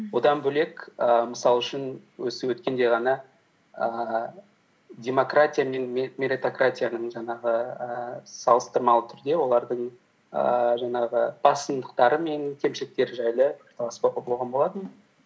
одан бөлек і мысал үшін осы өткенде ғана ііі демократия мен меритократияның жаңағы ііі салыстырмалы түрде олардың ііі жаңағы басындықтары мен кемшіліктері жайлы пікірталас болған болатын